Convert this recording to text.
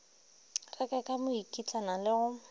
reka ka mokitlana le go